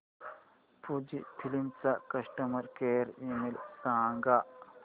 Fujifilm चा customer care email सांगा